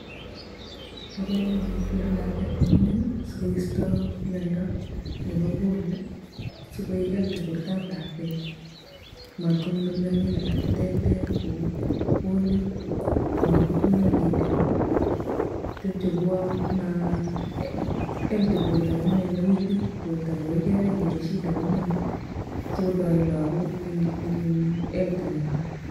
Bo komonut kerut lakwet ko mingin sikoisto miondo nebo polio sikoek healthy bortob lakwet matkonyor mianwek alak che terter kou polio, matkotuiyo keliek tepche koua ma healthy borto kininen ne weak weak borto magoi kenai mole shida komieno sikotoret lagok ing [iin] health nenywa.